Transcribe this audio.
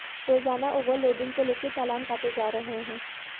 रोजाना ओवरलोडिंग को लेकर चालान काटे जा रहे हैं